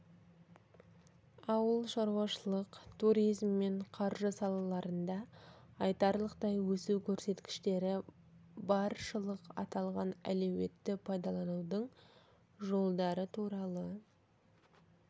ауыл шаруашылық туризм мен қаржы салаларында айтарлықтай өсу көрсеткіштері баршылық аталған әлеуетті пайдаланудың жолдары туралы